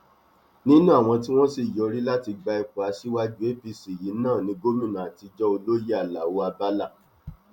nínú àwọn tí wọn sì yọrí láti gba ipò aṣíwájú apc yìí náà ní gómìnà àtijọ olóyè alao abala